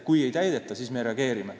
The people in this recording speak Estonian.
Kui ei täideta, siis me reageerime.